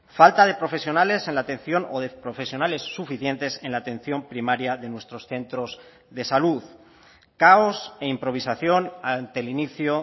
falta de profesionales en la atención o de profesionales suficientes en la atención primaria de nuestros centros de salud caos e improvisación ante el inicio